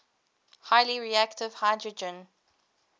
highly reactive hydrogen